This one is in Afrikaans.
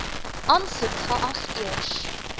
aansoek geag eers